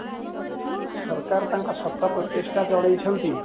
ସରକାର ତାଙ୍କ ଶତ ପ୍ରଚେଷ୍ଟା ଚଳେଇଚନ୍ତି